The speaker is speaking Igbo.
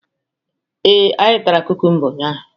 Ee, anyị tara kumkumba unyaahụ.